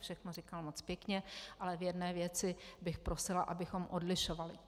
Všechno říkal moc pěkně, ale v jedné věci bych prosila, abychom odlišovali.